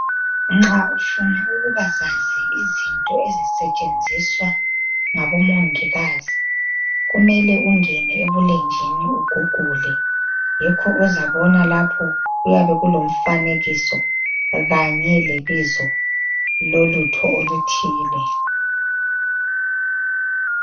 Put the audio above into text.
Nxa ufuna ukuba zazi izinto ezisetshenziswa ngabo mongikazi kumele ungene ebulenjini ugugule yikho ozabona lapho kuyabe kulomfanekiso kanye lebizo lolutho oluthile.